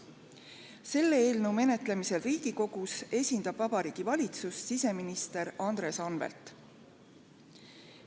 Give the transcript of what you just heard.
Selle eelnõu menetlemisel Riigikogus esindab Vabariigi Valitsust siseminister Andres Anvelt.